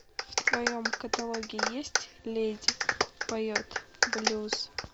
в твоем каталоге есть леди поет блюз